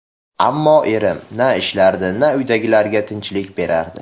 Ammo erim... Na ishlardi, na uydagilarga tinchlik berardi.